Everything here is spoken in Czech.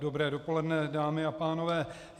Dobré dopoledne, dámy a pánové.